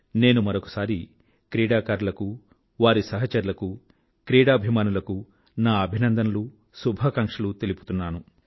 నేను మరొకసారి క్రీడాకారులనూ వారి సహచరులనూ క్రీడాభిమానులకూ నా అభినందనలూ శుభాకాంక్షలూ తెలుపుకుంటున్నాను